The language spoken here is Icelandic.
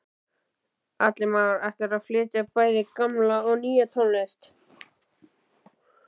Atli Már: Ætlarðu að flytja bæði gamla og nýja tónlist?